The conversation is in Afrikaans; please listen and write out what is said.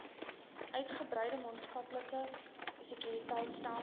uitgebreide maatskaplike sekuriteitstelsel